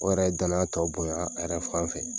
O yɛrɛ ye danaya tɔ bonya a yɛrɛ fan fɛ